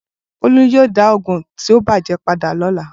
Bolu yoo da oogun ti o bàjé pada lọla